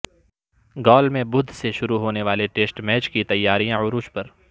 گال میں بدھ سے شروع ہونے والے ٹیسٹ میچ کی تیاریاں عروج پر